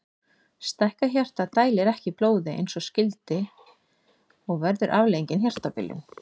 Stækkað hjarta dælir ekki blóði eins og skyldi og verður afleiðingin hjartabilun.